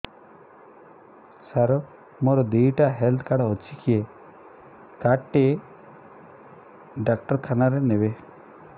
ସାର ମୋର ଦିଇଟା health card ଅଛି କେ କାର୍ଡ ଟି ଡାକ୍ତରଖାନା ରେ ନେବେ